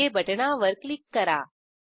okay बटणावर click करा